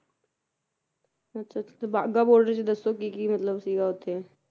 ਅੱਛਾ ਅੱਛਾ ਤੇ ਵਾਗਾ ਬਾਰਡਰ ਚ ਦੱਸੋ ਕੀ ਕੀ ਮਤਲਬ ਸੀਗਾ ਉੱਥੇ